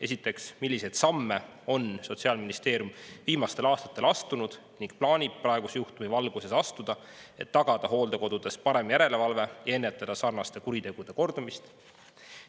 Esiteks, milliseid samme on Sotsiaalministeerium viimastel aastatel astunud ning plaanib praeguse juhtumi valguses astuda, et tagada hooldekodudes parem järelevalve ja ennetada sarnaste kuritegude kordumist?